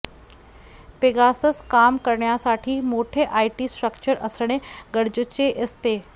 Pegasus काम करण्यासाठी मोठे आयटी स्ट्रक्चर असणे गरजेचे असते